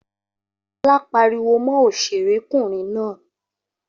Olá pariwo mọ òṣèré kùnrin náà